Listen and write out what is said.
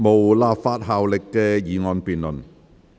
無立法效力的議案辯論。